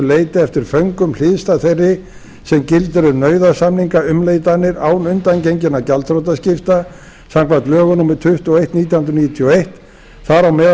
leyti eftir föngum hliðstæð þeirri sem gildir um nauðasamningaumleitanir án undangenginna gjaldþrotaskipta samkvæmt lögum númer tuttugu og eitt nítján hundruð níutíu og eitt þar á meðal